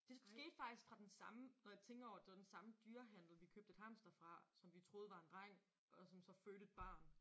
Det skete faktisk fra den samme når jeg tænker over det det var den samme dyrehandel vi købte et hamster fra som vi troede var en dreng og som så fødte et barn